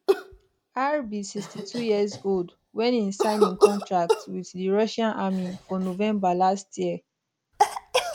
r be 62 years old wen e sign im contract with di russian army for november last year